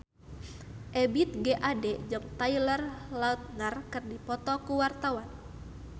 Ebith G. Ade jeung Taylor Lautner keur dipoto ku wartawan